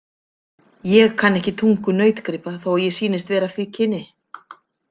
Ég kann ekki tungu nautgripa þó að ég sýnist vera af því kyni.